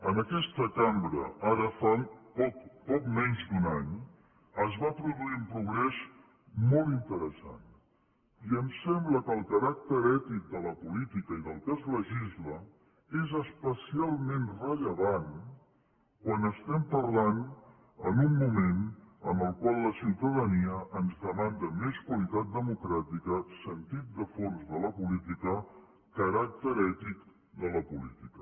en aquesta cambra ara fa poc menys d’un any es va produir un progrés molt interessant i em sembla que el caràcter ètic de la política i del que es legisla és especialment rellevant quan estem parlant en un moment en el qual la ciutadania ens demanda més qualitat democràtica sentit de fons de la política caràcter ètic de la política